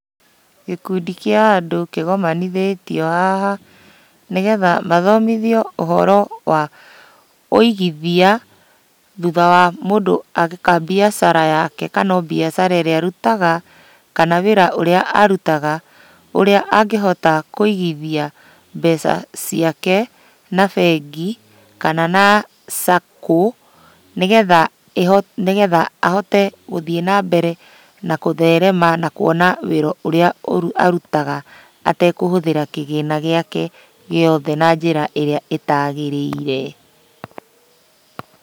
Gĩkundi kĩa andũ kĩgomanithĩtio haha, nĩgetha mathomithio ũhoro wa ũigithia, thutha wa mũndũ eka mbiacara yake kana o mbiacara ĩrĩa arutaga, kana wĩra ũrĩa arutaga, ũrĩa angĩhota kũigithia mbeca ciake na bengi, kana na saco, nĩgetha ĩhote nĩgetha ahote gũthiĩ nambere na gũtherema na kuona wĩra ũrĩa arutaga atekũhũthĩra kĩgĩna gĩake gĩothe na njĩra ĩrĩa ĩtagĩrĩire.